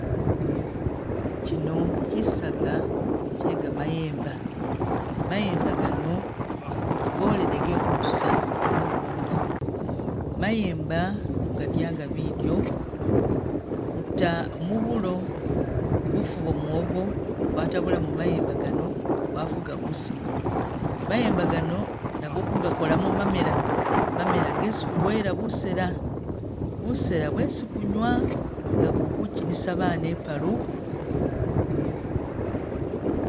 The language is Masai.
Kino chisaga che kamayemba, mayemba gano golele ge kutusa mu gunda. Mayemba ku gadya nga bidyo kuta mu bulo, bufu bwa mwogo, kwatabulamo mayemba gano kwafuga busima, mayemba gano nago kugakolamo mamela, mamela gesi kugoyela busela, busela bwesi kunywa nga kuli Ku kinisa baana i'palu.